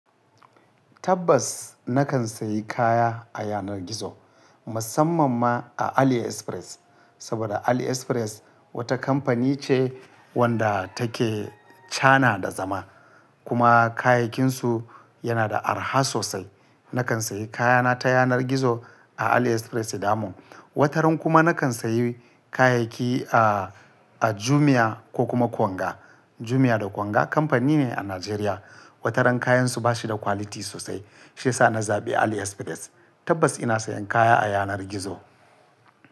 Tabbas! Na kan sayi kaya a yanar gizo, musamman ma a AliExpress. Saboda AliExpress wata kamfani ce wadda take kana da zama, kuma kayayyakinsu yana da araha sosai. Nakan sayi kayana ta yanar gizo a AliExpress damom. Wataran kuma na kan sayi kayayyaki a, a Jumia ko kuma Konga. Jumia da Konga kamfani ne a Najeriya. Wataran kayansu ba shi da quality sosai. Shi ya sa na zaɓi AliExpress. Tabbas ina sayan kaya a yanar gizo.